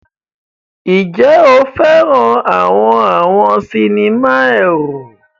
Ǹjẹ́ o fẹ́ràn àwọn àwọn sinimá ẹ̀rù?